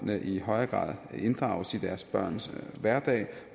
i højere grad inddrages i deres børns hverdag